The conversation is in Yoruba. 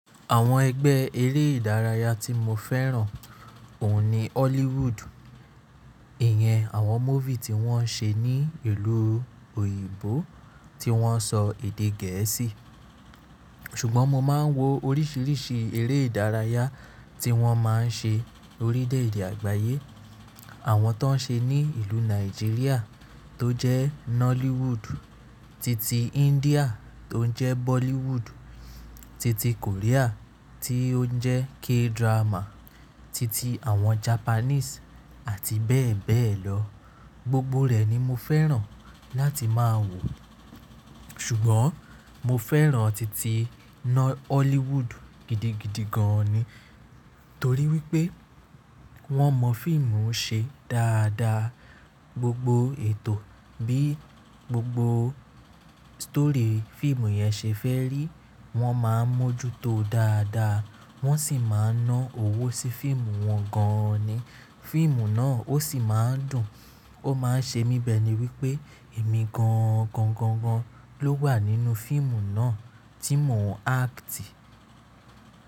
Àwọn ẹgbẹ́ eré ìdárayá tí mo fẹ́ràn òun ni Hollywood. Ìyẹn àwọn movie tí wọ́n ṣe ní ìlú òyìnbó tí wọ́n sọ èdè gẹ̀ẹ́sì. Ṣùgbọ́n mo máa ń wo oríṣiríṣi eré ìdárayá tí wọ́n máa ń ṣe orílẹ̀ èdè àgbáyé. Àwọn tó ń ṣe ní ìlú Nàìjíríà tó jẹ́ Nollywood titi India tó ń jẹ́ Bollywood, titi Korea tí ó ń jẹ́ K-drama, titi àwọn Japanese àti bẹ́ẹ̀ bẹ́ẹ̀ lọ. Gbogbo rẹ̀ ni mo fẹ́ràn láti máa wò. Ṣùgbọ́n mo fẹ́ràn titi Hollywood gidigidi gan ni. Torí wí pé wọ́n mọ fíìmù ṣe dáadáa. Gbogbo ètò bí i gbogbo stori fíìmù yẹn ṣe fẹ́ rí, wọ́n máa ń mójútó dáadáa. Wọ́n sì máa ń ná owó sí fíìmù wọn gan ni. Fíìmù náà ó sì máa ń dùn. Ó máa ń ṣe mí bẹ́ẹ̀ ni wípé èmi gangan gan gan ló wà nínú fíìmù náà tí mò ń acti.